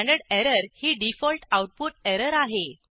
standard error ही default output error आहे